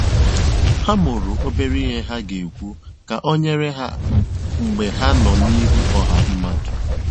Ha mụrụ obere ihe ha ga-ekwu ka ọ nyere ha mgbe ha nọ n'ihu ọha mmadụ.